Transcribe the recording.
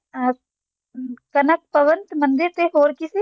ਅਮ ਕਨਕ ਭਵਨ ਤੇ ਮੰਦਰ ਤੇ ਹੋਰ ਕੀ ਸੀ?